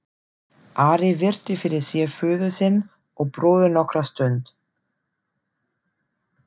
Ari virti fyrir sér föður sinn og bróður nokkra stund.